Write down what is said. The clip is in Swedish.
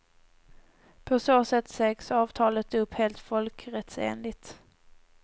På så sätt sägs avtalet upp helt folkrättsenligt.